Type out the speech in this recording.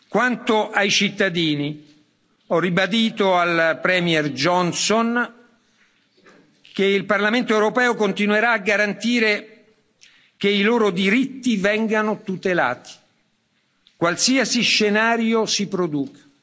Quanto ai cittadini, ho ribadito al Premier Johnson che il Parlamento europeo continuerà a garantire che i loro diritti vengano tutelati, qualsiasi scenario si produca.